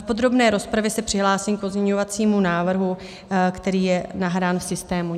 V podrobné rozpravě se přihlásím k pozměňovacímu návrhu, který je nahrán v systému.